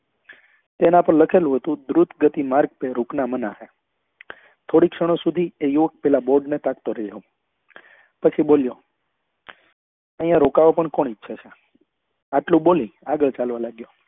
તેના પર લખેલું હતું ગતિ માર્ગ પર રુકના મના હૈ થોડીક ક્ષણો સુધી એ યુવક પેલા bord ને ટકતો રહ્યો પછી બોલ્યો અહિયાં રોકાવા પણ કોણ ઈચ્છે છે આટલું બોલી આગળ ચાલવા લાગ્યો